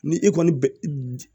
Ni e kɔni bɛ